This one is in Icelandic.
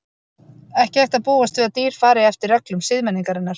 Ekki hægt að búast við að dýr fari eftir reglum siðmenningarinnar.